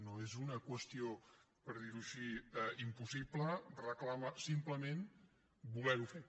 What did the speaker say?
no és una qüestió per dir ho així impossible reclama simplement voler ho fer